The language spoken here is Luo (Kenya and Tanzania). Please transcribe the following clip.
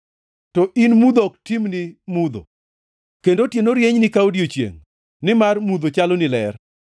to in mudho ok timni mudho kendo otieno rienyni ka odiechiengʼ, nimar mudho chaloni ler.